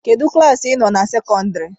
Kedụ klaasị ị nọ na sekọndịrị?